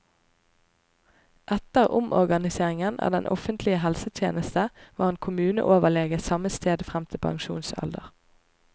Etter omorganiseringen av den offentlige helsetjeneste var han kommuneoverlege samme sted frem til pensjonsalder.